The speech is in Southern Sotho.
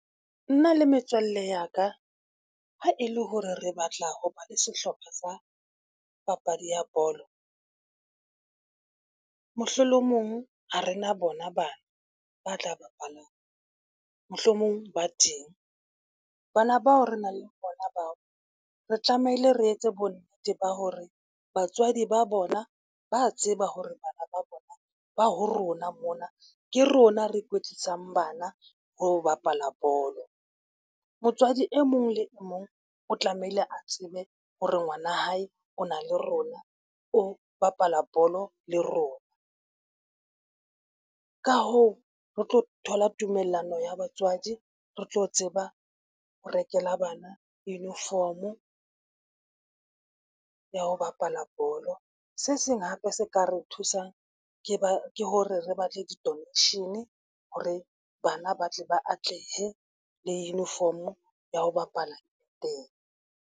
Nna le metswalle ya ka, ha e le hore re batla ho ba le sehlopha sa papadi ya bolo. Mohlolomong ha rena bona bana ba tla bapalang mohlomong ba teng. Bana bao re nang le bona bao re tlamehile re etse bonnete ba hore batswadi ba bona ba tseba ho re bana ba bona ba ho rona mona, ke rona re kwetlisang bana ho bapala bolo. Motswadi e mong le e mong o tlamehile a tsebe ho re ngwanahae o na le rona, o bapala bolo le rona. Ka hoo, re tlo thola tumellano ya batswadi, re tlo tseba ho rekela bana uniform-o ya ho bapala bolo. Se seng hape se ka re thusang ke hore re batle di-donation hore bana ba tle ba atlehe le uniform ya ho bapala teng.